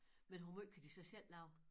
Men hvor måj kan de så selv lave?